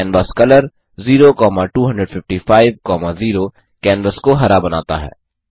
canvas colour 02550 canvas को हरा बनाता है